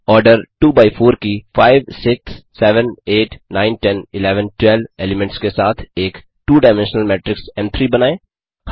order 2 by 4 की 5 6 7 8 9 10 11 12 elements के साथ एक टू डायमेंशनल मेट्रिक्स एम3 बनाएं